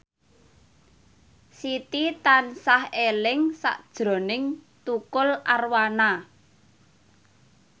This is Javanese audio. Siti tansah eling sakjroning Tukul Arwana